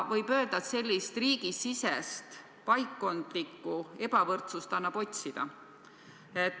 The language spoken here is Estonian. Võib öelda, et sellist riigisisest paikkondlikku ebavõrdsust annab otsida.